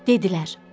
Dedilər: